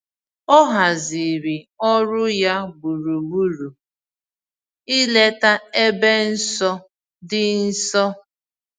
O haziri ọrụ ya gburugburu ileta ebe nsọ dị nso.